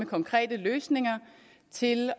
konkrete løsninger til